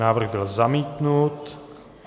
Návrh byl zamítnut.